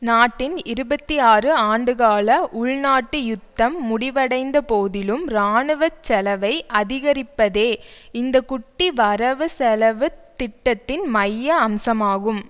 நாட்டின் இருபத்தி ஆறு ஆண்டுகால உள்நாட்டு யுத்தம் முடிவடைந்த போதிலும் இராணுவ செலவை அதிகரிப்பதே இந்த குட்டி வரவு செலவு திட்டத்தின் மைய அம்சமாகும்